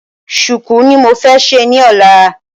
Sùùkú ni mo fẹ́ ṣe ni ọ́la